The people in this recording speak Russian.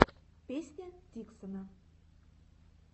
песня диксона